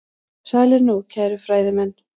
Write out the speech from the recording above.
Sælir nú, kæru fræðimenn.